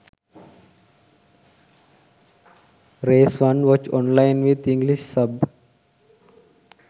race 1 watch online with english sub